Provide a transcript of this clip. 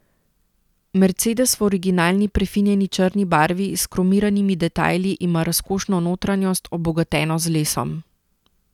Mercedes v originalni prefinjeni črni barvi s kromiranimi detajli ima razkošno notranjost, obogateno z lesom.